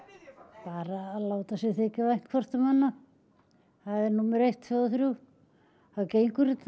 bara að láta sér þykja vænt hvort um annað það er númer eitt tveggja og þriggja þá gengur þetta